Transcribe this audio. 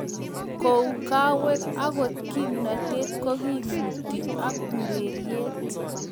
Kou kawek angot kimnatet kokimitu ak ureriet